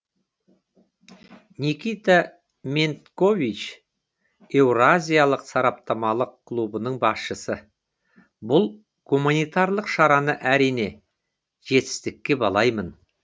никита мендкович еуразиялық сараптамалық клубының басшысы бұл гуманитарлық шараны әрине жетістікке балаймын